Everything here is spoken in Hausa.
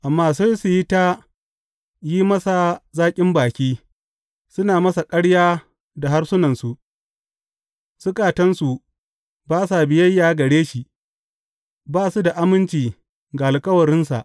Amma sai su yi ta yin masa zaƙin baki, suna masa ƙarya da harsunansu; zukatansu ba sa biyayya gare shi, ba su da aminci ga alkawarinsa.